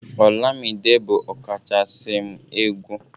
olamide bu ọkachasi m egwu